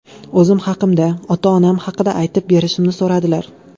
O‘zim haqimda, ota-onam haqida aytib berishimni so‘radilar.